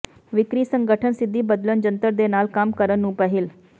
ਵਿਕਰੀ ਸੰਗਠਨ ਸਿੱਧੀ ਬਦਲਣ ਜੰਤਰ ਦੇ ਨਾਲ ਕੰਮ ਕਰਨ ਨੂੰ ਪਹਿਲ